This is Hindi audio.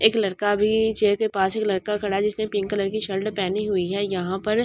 एक लड़का भी चेयर के पास एक लड़का खड़ा है जिसने पिंक कलर की शर्ट पहनी हुई है यहां पर--